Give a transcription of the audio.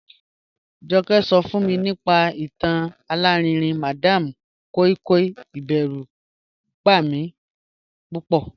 Joke so fun mi nipa itan alarinrin madam koi koi, iberu ba mi pupo.